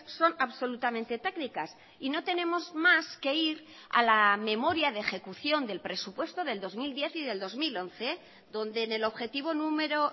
son absolutamente técnicas y no tenemos más que ir a la memoria de ejecución del presupuesto del dos mil diez y del dos mil once donde en el objetivo número